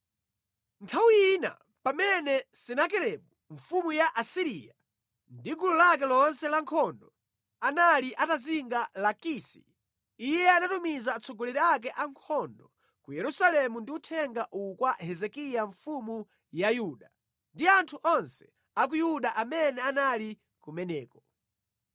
Nthawi ina, pamene Senakeribu mfumu ya ku Asiriya ndi gulu lake lonse lankhondo anali atazinga Lakisi, iye anatumiza atsogoleri ake ankhondo ku Yerusalemu ndi uthenga uwu kwa Hezekiya mfumu ya Yuda ndi anthu onse a ku Yuda amene anali kumeneko: